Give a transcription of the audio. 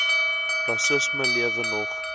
rassisme lewe nog